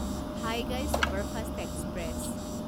Vaigai superfast express